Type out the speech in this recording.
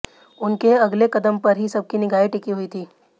उनके अगले कदम पर ही सबकी निगाहें टिकी हुई थीं